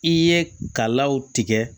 I ye kalaw tigɛ